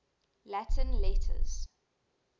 latin letters